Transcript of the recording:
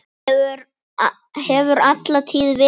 Hefur alla tíð verið svona.